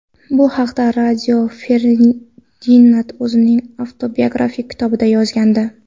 Bu haqida Rio Ferdinand o‘zining avtobiografik kitobida yozgandi.